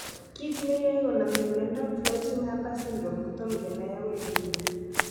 Kit ne yoe konamin miondap Floating Harbor syndrome kotom kenai agoi nguni.